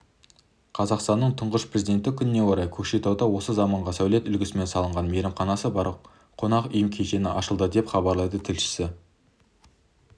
қазақстанның тұңғыш президенті күніне орай көкшетауда осы заманғы сәулет үлгісімен салынған мейрамханасы бар қонақ үй кешені ашылды деп хабарлайды тілшісі